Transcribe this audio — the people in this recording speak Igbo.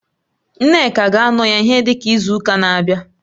Nneka ga-anọ ya ihe dịka izu ụka na-abịa